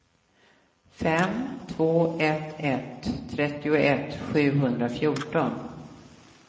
fem två ett ett trettioett sjuhundrafjorton